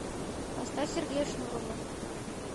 поставь сергея шнурова